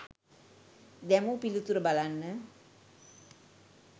දැමූ පිළිතුර බලන්න.